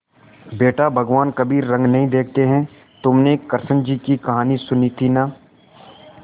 बेटा भगवान कभी रंग नहीं देखते हैं तुमने कृष्ण जी की कहानी सुनी थी ना